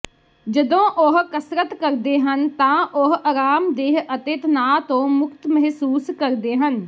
ਜਦੋਂ ਉਹ ਕਸਰਤ ਕਰਦੇ ਹਨ ਤਾਂ ਉਹ ਅਰਾਮਦੇਹ ਅਤੇ ਤਣਾਅ ਤੋਂ ਮੁਕਤ ਮਹਿਸੂਸ ਕਰਦੇ ਹਨ